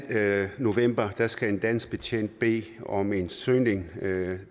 november skal en dansk betjent bede om en søgning